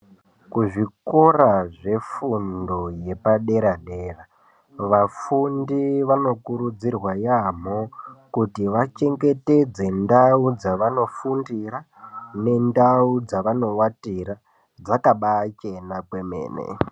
Kuzvikora zvefundo yepadera-dera, vafundi vanokurudzirwa yaamho kuti vachengetedze ndau dzavanofundira nendau dzavanovatira dzakabacheba kwemene.